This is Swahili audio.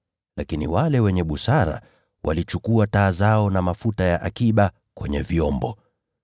lakini wale wenye busara walichukua taa zao na mafuta ya akiba kwenye vyombo.